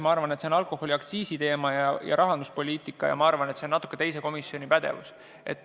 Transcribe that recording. Ma arvan, et alkoholiaktsiisi teema ja rahanduspoliitika kuulub teise komisjoni pädevusse.